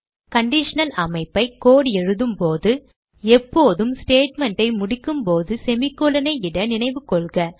conditional அமைப்பை code எழுதும் போது எப்போதும் statement ஐ முடிக்கும்போது semicolon ஐ இட நினைவு கொள்க